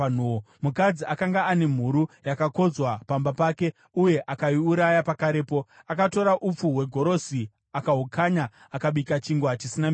Mukadzi akanga ane mhuru yakakodzwa pamba pake, uye akaiuraya pakarepo. Akatora upfu hwegorosi akahukanya akabika chingwa chisina mbiriso.